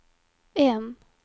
en